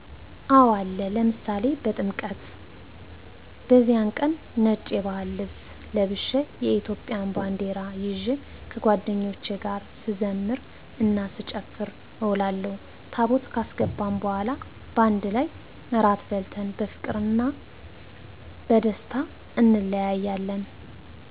አወ አለ፤ ለምሳሌ በጥምቀት፦ በዚያን ቀን ነጭ የባህል ልብስ ለብሸ የኢትዮጵያን ባንደራ ይዠ ከጓደኞቸ ጋር ስዘምር እና ስጨፍር እውላለሁ፤ ታቦት ካስገባን በኋላ ባንድ ላይ እራት በልተን በፍቅርና ቀደስታ እንለያያለን።